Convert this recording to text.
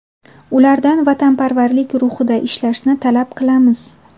Ulardan vatanparvarlik ruhida ishlashni talab qilamiz”.